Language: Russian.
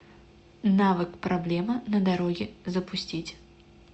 навык проблема на дороге запустить